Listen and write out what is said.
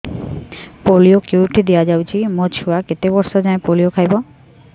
polio କେଉଁଠି ଦିଆଯାଉଛି ମୋ ଛୁଆ କେତେ ବର୍ଷ ଯାଏଁ ପୋଲିଓ ଖାଇବ